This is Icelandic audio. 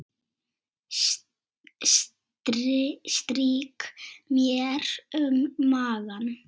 Strýk mér um magann.